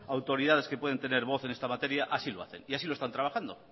autoridades que pueden tener voz en esta materia así lo hacen y así lo están trabajando